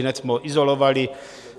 Ihned jsme ho izolovali.